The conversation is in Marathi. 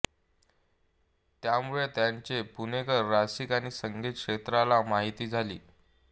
त्यामुळे त्यांचे पुणेकर रसिक आणि संगीत क्षेत्राला माहिती झाले